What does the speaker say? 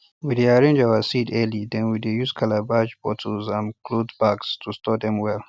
we dey arrange our seeds early then we dey use calabash bottles and cloth bags to store dem well